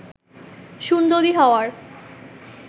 সুন্দরী হওয়ার